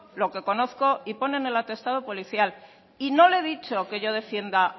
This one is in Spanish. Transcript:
lo que conozco y pone en el atestado policial y no le he dicho que yo defienda